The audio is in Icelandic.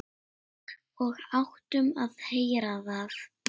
Og áttum að heyra það.